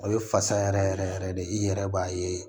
O ye fasa yɛrɛ yɛrɛ yɛrɛ de i yɛrɛ b'a ye